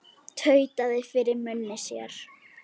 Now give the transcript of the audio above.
Tautaði fyrir munni sér.